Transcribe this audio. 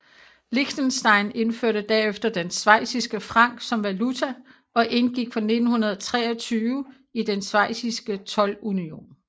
Liechtenstein indførte derefter den schweiziske franc som valuta og indgik fra 1923 i den schweiziske toldunion